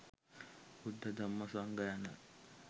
බුද්ධ, ධම්ම, සංඝ යන